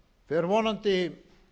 fer vonandi